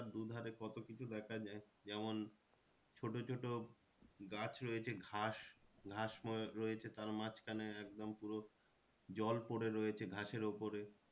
দু ধারে কত কিছু দেখা যায় যেমন ছোটো ছোটো গাছ রয়েছে ঘাস ঘাস আহ রয়েছে তার মাঝখানে একদম পুরো জল পরে রয়েছে ঘাসের ওপরে।